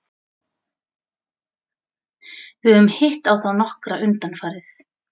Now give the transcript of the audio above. Við höfum hitt á þá nokkra undanfarið.